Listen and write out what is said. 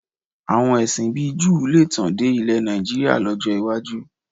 Àwọn ẹ̀sìn bíi Júù lè tàn dé ilẹ̀ Nàìjííríà lọ́jọ́ iwájú